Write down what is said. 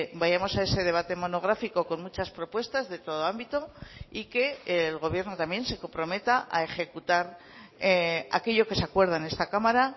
vayamos a ese debate monográfico con muchas propuestas de todo ámbito y que el gobierno también se comprometa a ejecutar aquello que se acuerda en esta cámara